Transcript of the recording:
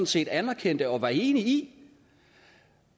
set anerkendte og var enig i